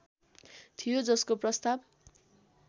थियो जसको प्रस्ताव